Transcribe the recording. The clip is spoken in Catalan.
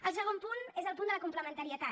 el segon punt és el punt de la complementarietat